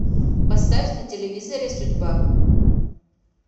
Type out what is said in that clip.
поставь на телевизоре судьба